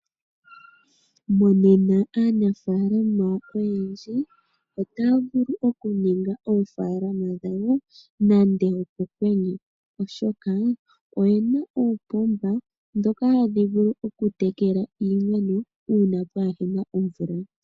Monena aanafalama oyendji otaya vulu okuninga oofalama dhawo nenge opokwenye oshoka oye na uupomba mboka hawu vulu okutekela iimeno uuna kaapuna omvula.